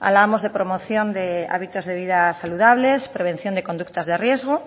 hablábamos de promoción de hábitos de vida saludables prevención de conductas de riesgo